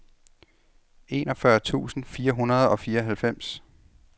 enogfyrre tusind fire hundrede og fireoghalvfems